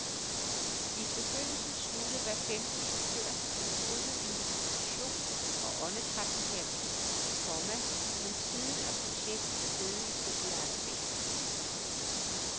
I begyndelsen sluttede hver femte chauffør sig til kurset i meditation og åndedrætsterapi, komma men siden er projektet steget i popularitet. punktum